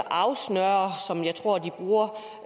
afsnører som jeg tror er ordet